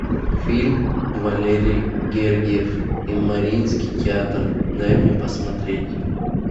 фильм валерий гергиев и мариинский театр дай мне посмотреть